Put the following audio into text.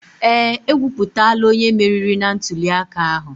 Ee, ekwuputala onye meriri na ntuliaka ahụ.